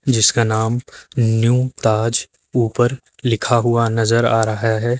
जिसका नाम न्यू ताज उपर लिखा हुआ नजर आ रहा है।